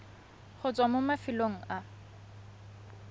go tswa mo mafelong a